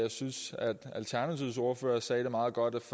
alternativets ordfører sagde det meget godt